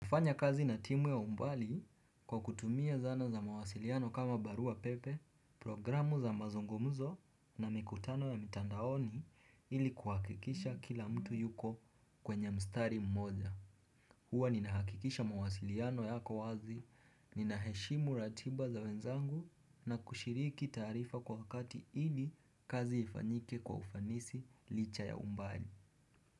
Kufanya kazi na timu ya umbali kwa kutumia zana za mawasiliano kama barua pepe, programu za mazungumzo na mikutano ya mitandaoni ili kuhakikisha kila mtu yuko kwenye mstari mmoja. Hua ninahakikisha mawasiliano yako wazi, ninaheshimu ratiba za wenzangu na kushiriki taarifa kwa wakati ili kazi ifanyike kwa ufanisi licha ya umbali.